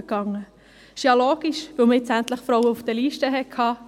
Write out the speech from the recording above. Das ist ja logisch, weil man endlich Frauen auf den Listen hatte.